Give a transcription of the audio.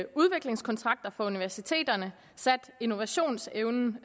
udviklingskontrakter for universiteterne sat innovationsevnen